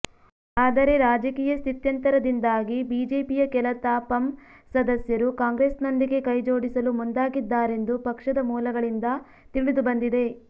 ಆದರೆ ರಾಜಕೀಯ ಸ್ಥಿತ್ಯಂತರದಿಂದಾಗಿ ಬಿಜೆಪಿಯ ಕೆಲ ತಾಪಂ ಸದಸ್ಯರು ಕಾಂಗ್ರೆಸ್ನೊಂದಿಗೆ ಕೈಜೋಡಿಸಲು ಮುಂದಾಗಿದ್ದರೆಂದು ಪಕ್ಷದ ಮೂಲಗಳಿಂದ ತಿಳಿದುಬಂದಿದೆ